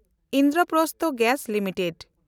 Indraprastha gas limited